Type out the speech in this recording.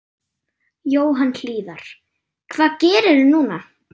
Jóhann Hlíðar: Hvað gerirðu núna?